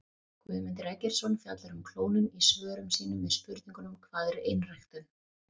Guðmundur Eggertsson fjallar um klónun í svörum sínum við spurningunum Hvað er einræktun?